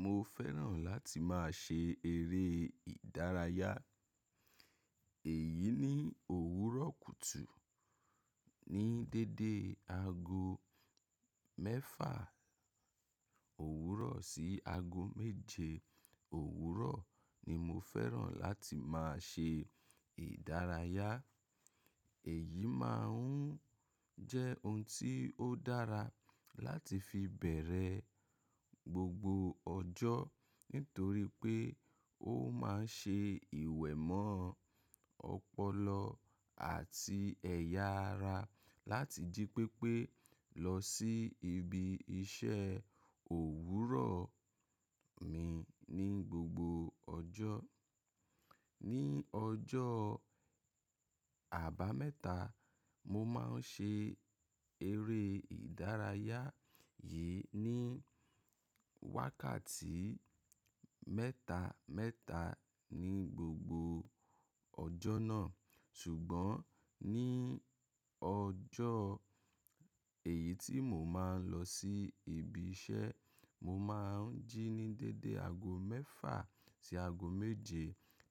Mo fẹ́ràn láti máa ṣe eré ìdárayá. Èyí ni òwúrọ̀ kùtù. Ní déédé ago mẹ́fà òwúrọ̀ sí ago méje òwúrọ̀ ni mo fẹ́ràn láti máa ṣe ìdárayá. Èyí máa ń jẹ́ ohun tí ó dára láti fi bẹ̀rẹ̀ gbogbo ọjọ́ nítorí pé ó máa ń ṣe ìwẹ̀ mọ́ ọpọlọ àti ẹ̀yà ara láti jí pépé lọ sí ibi iṣẹ́ òwúrọ̀ mi ní gbogbo ọjọ́. Ní ọjọ́ àbámẹ́ta, mo máa ń ṣe eré ìdárayá yìí ní wákàtí mẹ́ta mẹ́ta ní gbogbo ọjọ́ náà. Ṣùgbọ́n ní ọjọ́ èyí tí mo máa ń lọ sí ibi iṣẹ́, mo máa ń jí ní déédé ago mẹ́fà sí ago méje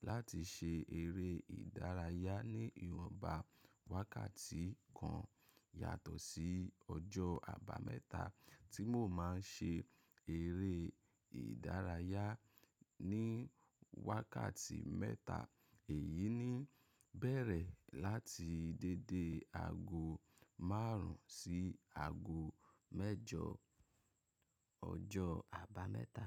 láti ṣe eré ìdárayá ní ìwọ̀nba wákàtí kan yàtọ̀ sí ọjọ́ àbámẹ́ta tí mo máa ń ṣe eré ìdárayá ní wákàtí mẹ́ta. Èyí ni bẹ̀rẹ̀ láti déédé ago márùn ún sí ago mẹ́jọ ọjọ́ àbámẹ́ta.